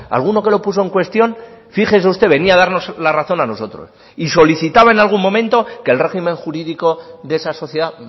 alguno que lo puso en cuestión fíjese usted venía a darnos la razón a nosotros y solicitaba en algún momento que el régimen jurídico de esa sociedad